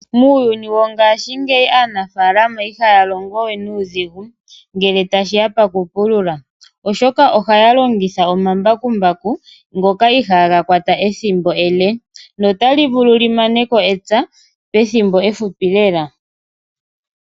Muuyuni wongashingeyi aanafalama ihaya longo we nuudhigu ngele tashi ya pakupulula. Oshoka ohaya longitha omambakumbaku ngoka ihaga kwata ethimbo ele, notali vulu li maneko epya pethimbo ehupi lela.